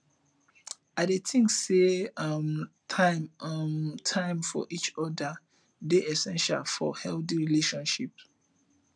i dey think say making um time um time for each oda dey essential for healthy relationships